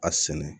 A sɛnɛ